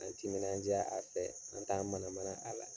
An timinandiya a fɛ, an t'an mana mana a la.